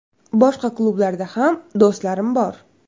Boshqa klublarda ham do‘stlarim bor.